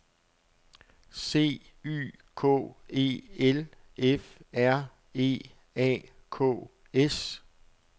C Y K E L F R E A K S